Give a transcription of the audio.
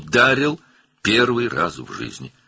Həyatında ilk dəfə vurdu.